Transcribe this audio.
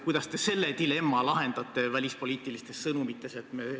Kuidas te selle dilemma välispoliitilistes sõnumites lahendate?